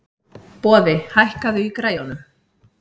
Boði, hækkaðu í græjunum.